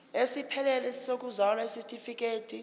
esiphelele sokuzalwa isitifikedi